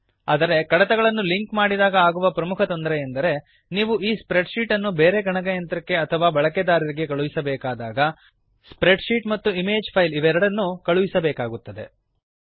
ಆದರೆ ಕಡತಗಳನ್ನು ಲಿಂಕ್ ಮಾಡಿದಾಗ ಆಗುವ ಪ್ರಮುಖ ಕೊರತೆಯೆಂದರೆ ನೀವು ಈ ಸ್ಪ್ರೆಡ್ ಶೀಟ್ ಅನ್ನು ಬೇರೆ ಗಣಕಯಂತ್ರಕ್ಕೆ ಅಥವಾ ಬಳಕೆದಾರರಿಗೆ ಕಳುಹಿಸಬೇಕಾದಾಗ ಸ್ಪ್ರೆಡ್ ಶೀಟ್ ಮತ್ತು ಇಮೇಜ್ ಫೈಲ್ ಎರಡನ್ನೂ ಕಳುಹಿಸಬೇಕಾಗುತ್ತದೆ